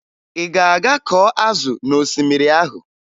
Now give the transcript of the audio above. Ị ga-aga kọọ azụ n'osimiri ahụ?